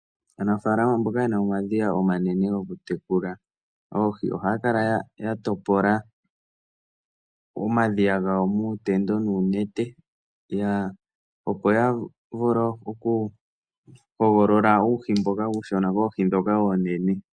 Aanafaalama mboka ye na omadhiya omanene goku tekula oohi, ohaa kala ya topola omadhiya gawo muutendo nuunete, opo ya vule oku hogolola uuhi mboka uushona, koohi ndhoka oonene.